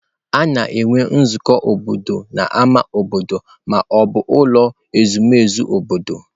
A na-enwe nzukọ obodo n'ámá obodo ma ọ bụ n'ụlọ ezumezu obodo